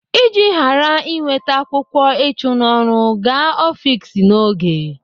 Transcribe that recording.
Iji ghara inweta akwụkwọ ịchụ n'ọrụ, gaa ọfiks n'oge.